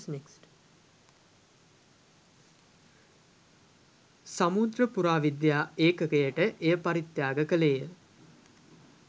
සමුද්‍ර පුරාවිද්‍යා ඒකකයට එය පරිත්‍යාග කළේය